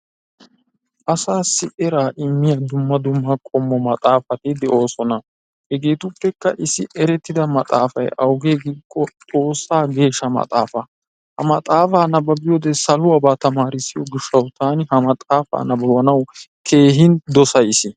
Asaassi eraa immiya dumma dumma qommo maxaafati de'ooosona. hegeetuppekka issi erettida maxaafay awugee giikko xoossa geesha maxaafaa. Ha maxaafa nababbiyode saluwaba tamaarissiyo gishawu taani ha maxaafa nababanaasi keehin dosays.